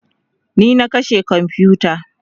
ni na kashe komfuta